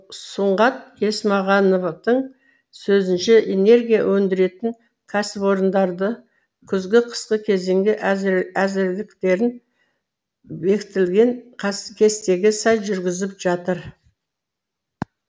сұңғат есмахановтың сөзінше энергия өндіретін кәсіпорындарды күзгі қысқы кезеңге әзірліктерін бекітілген кестеге сай жүргізіп жатыр